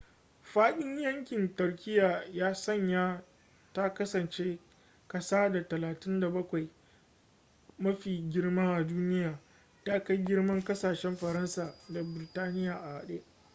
faɗin yankin turkiyya ya sanya ta kasance ƙasa ta 37 mafi girma a duniya ta kai girman ƙasashen faransa da birtaniya a hade